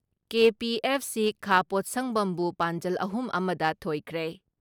KPFC ꯈꯥ ꯄꯣꯠꯁꯪꯕꯝꯕꯨ ꯄꯥꯟꯖꯜ ꯑꯍꯨꯝ ꯑꯃ ꯗ ꯊꯣꯏꯈ꯭ꯔꯦ ꯫